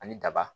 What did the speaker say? Ani daba